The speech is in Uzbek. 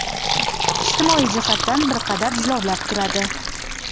ijtimoiy jihatdan bir qadar jilovlab turadi.